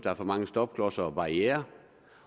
er for mange stopklodser og barrierer